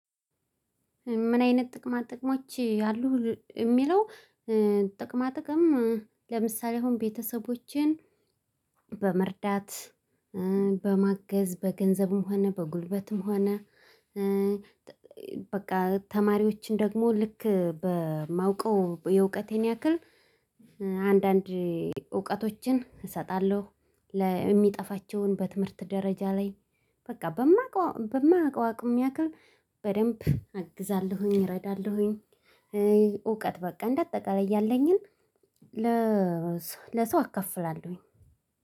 ምን አይነት ጥቅማ ጥቅሞች አሉህ ሚለው? ጥቅማ ጥቅም ለምሳሌ አሁን ቤተሰቦቼን በመርዳት በማገዝ በገንዘብም ሆነ በጉልበትም ሆነ በቃ ተማሪዎችን ደግሞ ልክ በማውቀው የእውቀቴን ያክል። አንዳንድ እውቀቶችን እሰጣለሁ ለሚጠፋቸውን በትምህርት ደረጃ ላይ። በቃ በማውቀው በማውቀው አቅም ያክል በደንብ አግዛለሁኝ እረዳለሁኝ። እውቀት በቃ እንዳጠቀላይ ያለኝን ለሰው አከፍላለሁኝ።